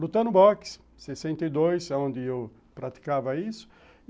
Lutando boxe, em sessenta e dois, aonde eu praticava isso.